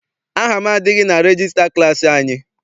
Aha m adịghị na regista klassi anyị.